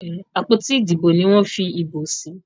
àpótí Ìdìbò ní wón fí ìbò sí.